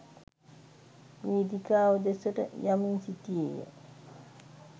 වේදිකාව දෙසට යමින් සිටියේ ය.